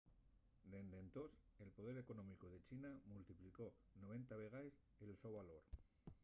dende entós el poder económicu de china multiplicó 90 vegaes el so valor